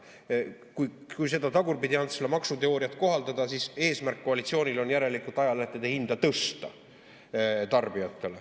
Kui seda Tagurpidi‑Antsla maksuteooriat kohaldada, siis järelikult on koalitsiooni eesmärk tõsta tarbijatele ajalehtede hinda.